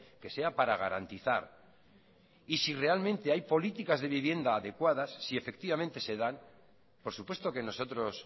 que sea para garantizar y si realmente hay políticas de viviendas adecuadas si efectivamente se dan por supuesto que nosotros